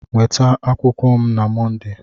Nweta akwụkwọ m na Mọnde!